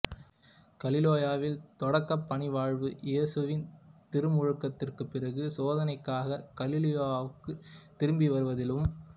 கலிலேயாவில் தொடக்கப் பணிவாழ்வு இயேசுவின் திருமுழுக்கிற்குப் பிறகு சோதனைக்காக கலிலேயாவுக்குத் திரும்பி வருவதிலும்